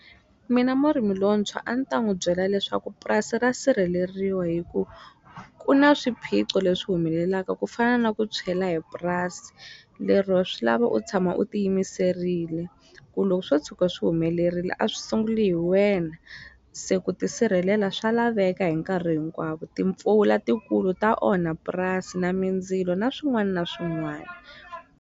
Mina murimi lontshwa a ni ta n'wu byela leswaku purasi ra sirheleriwa hi ku ku na swiphiqo leswi humelelaka ku fana na ku tshwela hi purasi lero swi lava u tshama u ti yimiserile ku loko swo tshuka swi humelerile a swi sunguli hi wena se ku ti sirhelela swa laveka hi nkarhi hinkwavo timpfula tikulu ta onha purasi na mindzilo na swin'wana na swin'wana.